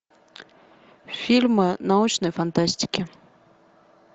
фильмы научной фантастики